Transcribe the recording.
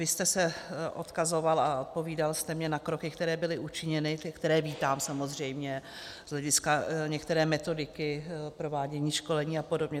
Vy jste se odkazoval a odpovídal jste mi na kroky, které byly učiněny, které vítám samozřejmě z hlediska některé metodiky provádění školení a podobně.